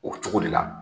O cogo de la